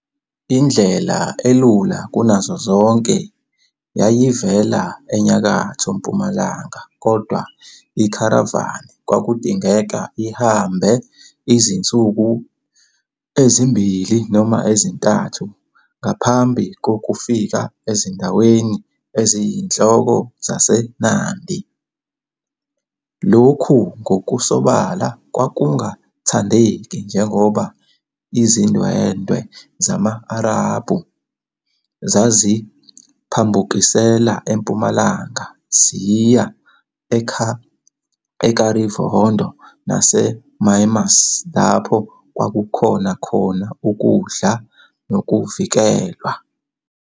Indlela elula kunazo zonke yayivela enyakatho-mpumalanga, kodwa ikharavani kwakudingeka ihambe izinsuku ezimbili noma ezintathu ngaphambi kokufika ezindaweni eziyinhloko zaseNandi. Lokhu ngokusobala kwakungathandeki njengoba izindwendwe zama-Arabhu zaziphambukisela empumalanga ziya eKavirondo naseMumias lapho kwakukhona khona ukudla nokuvikelwa.